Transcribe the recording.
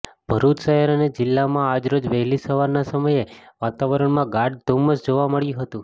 ભરૂચ શહેર અને જિલ્લામાં આજરોજ વહેલી સવારના સમયે વાતાવરણમાં ગાઢ ધૂમમ્સ જોવા મળ્યું હતું